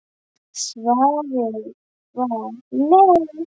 Svarið var nei.